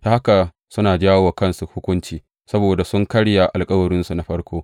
Ta haka suna jawo wa kansu hukunci, saboda sun karya alkawarinsu na farko.